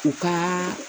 U ka